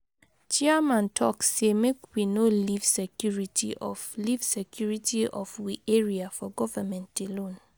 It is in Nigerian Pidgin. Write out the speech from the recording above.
Chairman talk sey make we no leave security of leave security of we area for govement alone.